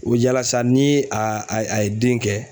O yala sa ni a a ye den kɛ